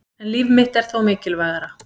En líf mitt er þó mikilvægara